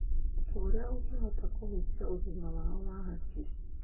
Ũndũ ũrĩa ũngĩhota kũhutia ũgima wao wa hakiri.